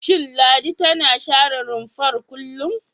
Shin Ladi tana share rumfar kullum?